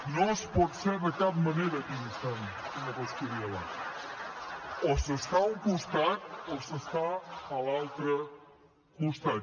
no es pot ser de cap manera equidistant senyor coscubiela o s’està a un costat o s’està a l’altre costat